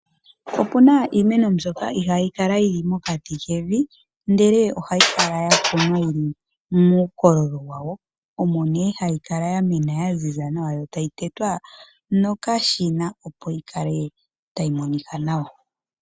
Opuna iimeno mbyoka ihaayi kala yili mokati kevi, ihe ohayi kala ya kunwa yili muukololo wayo, omo nee hayi kala yamena yaziza nawa, yo tayi tetwa nokashina opo yi kale tayi monika nawa.